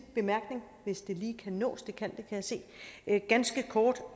bemærkning hvis det lige kan nås det kan jeg se ganske kort